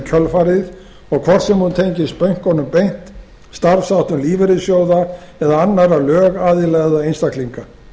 kjölfarið og hvort sem hún tengist bönkunum beint eða starfsháttum lífeyrissjóða annarra lögaðila eða einstaklinga